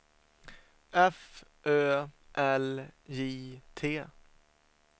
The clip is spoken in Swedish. F Ö L J T